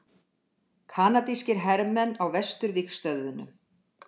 Kanadískir hermenn á vesturvígstöðvunum.